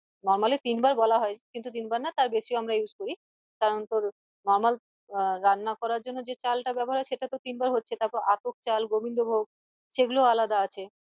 Normally তিন বার বলা হয় কিন্তু তিন বার না তার বেশি ও আমরা use করি কারন তোর Normal আহ রান্না করার জন্য যে চাল টা ব্যাবহার হয় সেটাতো তিনবার হচ্ছে তারপর আতপ চাল গোবিন্দ ভোগ সেগুলো আলাদা আছে